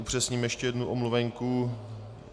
Upřesním ještě jednu omluvenku.